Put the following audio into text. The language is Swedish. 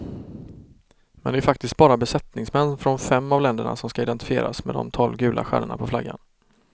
Men de är faktiskt bara besättningsmän från fem av länderna som skall identifieras med de tolv gula stjärnorna på flaggan.